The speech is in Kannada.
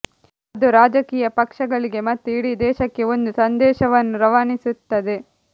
ಅದು ರಾಜಕೀಯ ಪಕ್ಷಗಳಿಗೆ ಮತ್ತು ಇಡೀ ದೇಶಕ್ಕೆ ಒಂದು ಸಂದೇಶವನ್ನು ರವಾನಿಸಿರುತ್ತದೆ